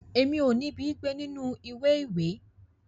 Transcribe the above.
Èmi o nibi gbé nínú ìwé ìwé.